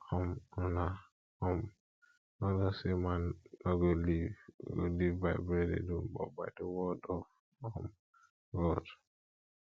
um una um no know say man no go live go live by bread alone but by the word of um god